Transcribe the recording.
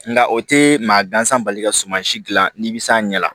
Nka o tɛ maa gansan bali ka suman si dilan n'i bɛ s'a ɲɛ la